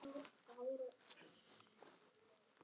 Elsku afi Bjarni.